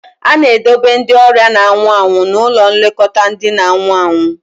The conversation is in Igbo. A na-edobe ndị ọrịa na-anwụ anwụ n'ụlọ nlekọta ndị na-anwụ anwụ